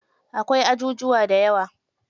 Akwai ajujuwa dayawa.